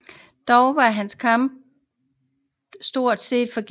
Dog var denne kampagne stort set forgæves